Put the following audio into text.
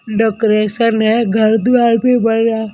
decoration है घर द्वार भी बन रहा--